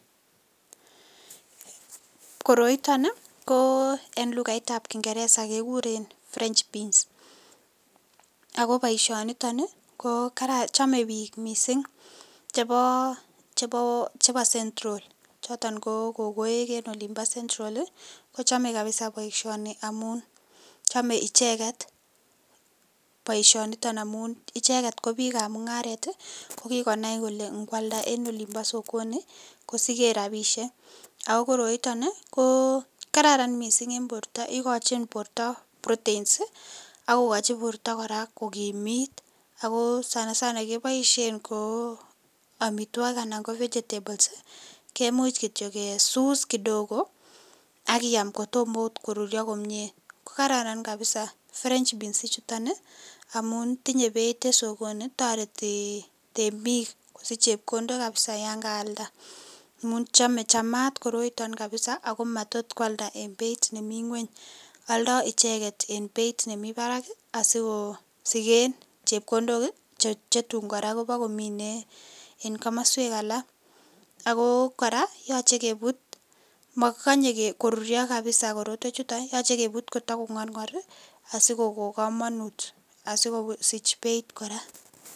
Koroiton ko en lukaitab kingereza kekuren french beans ak ko boishoniton ko chome biik mising chebo central choton ko kokoek en olimbo central kochome kabisa boishoni amun chome icheket boishoni amun icheket ko biikab mung'aret ko kikonai kolee ng'ealda en olimbo sokoni kosiken rabishek ak ko koroiton ii ko kararan mising en borto ikochin borto proteins ak kokochi borto kora kokimit ak ko sana sana keboishen ko amitwokik anan ko vegetables, ko kimuch kityo kesus kidogo ak iyaam kotomot koruryo komie, ko kararan kabisaa french beans ichuton amun tinye Beit en sokoni, toreti temiik kosich chepkondok kabisaa yoon kaalda amun chome chamaat koroiton kabisaa ak ko matot kwalda en beit nemii ng'weny, oldo icheket en beit nemii barak asikosiken chepkondok chetian kora kobokomine en komoswek alak ak ko kora yoche kebut, mokikonye koruryo kabisaa korotwechuton yoche kebut Kotoko ng'orng'or asikoko komonut asikosich beit kora.